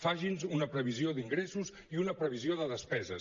faci’ns una previsió d’ingressos i una previsió de despeses